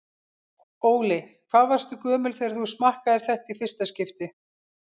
Óli: Hvað varstu gömul þegar þú smakkaðir þetta í fyrsta skipti?